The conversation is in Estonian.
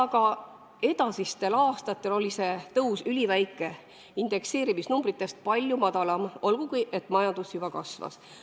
Ka edasistel aastatel oli see tõus üliväike, indekseerimisnumbritest palju madalam, olgugi et majandus juba kasvas.